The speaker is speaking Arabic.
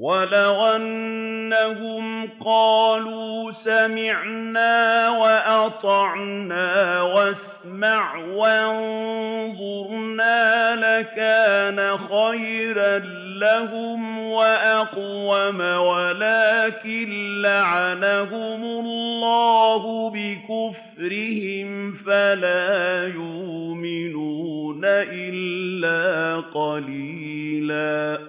وَلَوْ أَنَّهُمْ قَالُوا سَمِعْنَا وَأَطَعْنَا وَاسْمَعْ وَانظُرْنَا لَكَانَ خَيْرًا لَّهُمْ وَأَقْوَمَ وَلَٰكِن لَّعَنَهُمُ اللَّهُ بِكُفْرِهِمْ فَلَا يُؤْمِنُونَ إِلَّا قَلِيلًا